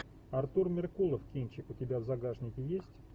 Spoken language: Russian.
артур меркулов кинчик у тебя в загашнике есть